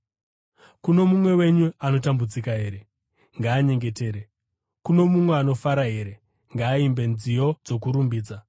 Kuno mumwe wenyu anotambudzika here? Ngaanyengetere. Kuno mumwe anofara here? Ngaaimbe nziyo dzokurumbidza.